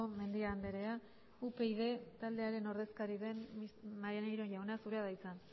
mendia andrea upyd taldearen ordezkari den maneiro jauna zurea da hitza